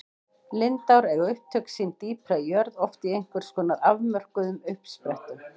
Lindár eiga upptök sín dýpra í jörð, oft í einhvers konar afmörkuðum uppsprettum.